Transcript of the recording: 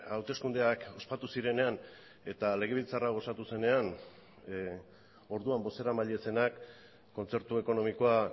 hauteskundeak ospatu zirenean eta legebiltzar hau osatu zenean orduan bozeramaile zenak kontzertu ekonomikoa